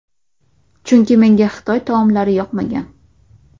Chunki menga Xitoy taomlari yoqmagan.